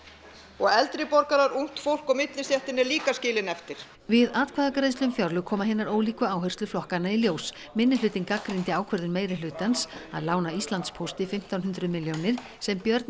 og eldri borgara ungt fólk og millistéttin er líka skilin eftir við atkvæðagreiðslu um fjárlög koma hinar ólíku áherslur flokkanna í ljós minnihlutinn gagnrýndi ákvörðun meirihlutans að lána Íslandspósti fimmtán hundruð milljónir sem Björn